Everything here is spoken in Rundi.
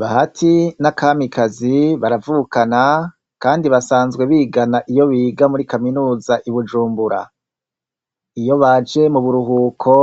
Bahati na Kamikazi baravukana , kandi basanzwe bigana iyo biga kw' ishuri i Bujumbura. Iyo baje mu buruhuko,